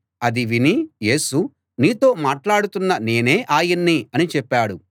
అది విని యేసు నీతో మాట్లాడుతున్న నేనే ఆయన్ని అని చెప్పాడు